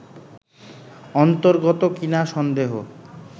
অন্তর্গত কি না সন্দেহ